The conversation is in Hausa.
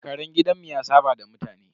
Karen gidanmu ya saɓa da mutane.